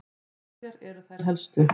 Hverjar eru þær helstu?